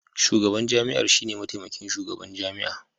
Shugaban jami'ar shine mataimakin shugaban jami'a